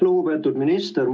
Lugupeetud minister!